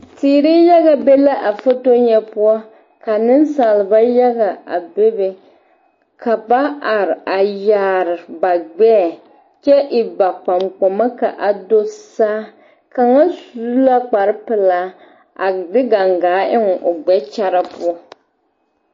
Teere yaga be la a foto ŋa poɔ ka nensalba yaga a bebe ka ba are a yaare ba gbɛɛ kyɛ e ba kpankpama k,a do saa kaŋa su la kparepelaa a de gangaa eŋ o gbɛkyara poɔ.